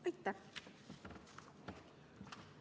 Aitäh!